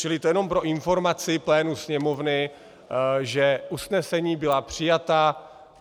Čili to jenom pro informaci plénu Sněmovny, že usnesení byla přijata.